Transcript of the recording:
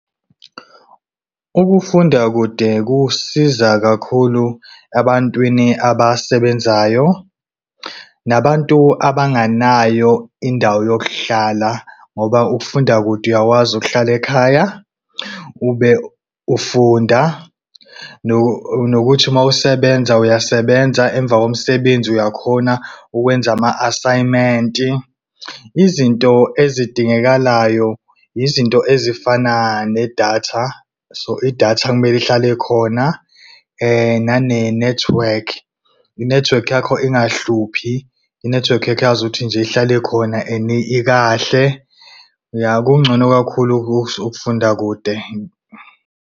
Ukufunda kude kusiza kakhulu ebantwini abasebenzayo nabantu abanganayo indawo yokuhlala ngoba ukufunda kude uyakwazi ukuhlala ekhaya ube ufunda. Nokuthi mawusebenza uyasebenza emva komsebenzi uyakhona ukwenza ama-asayimenti. Izinto ezidingekalayo yizinto ezifana nedatha, so idatha kumele ihlale khona. Nane-network, i-network yakho ingahluphi, i-network yakho yazi ukuthi nje ihlale khona ikahle. Ya, kungcono kakhulu-ke ukufunda kude.